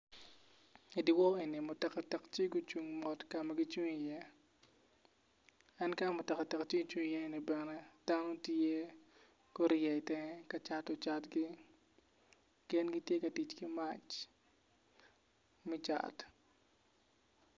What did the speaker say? Idiwor ni enini mutoka cuk tye magucung kama gicung iye en kama mutoka cuk ocungo i ye ni bene dano tye i ye gurye tenge kacato catgi gin gitye ka tic ki mac me cat.